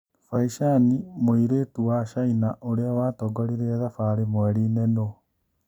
Bai Chani mũirĩtu wa Chaina ũrĩa watongoririe thabarĩ mweriinĩ nũũ?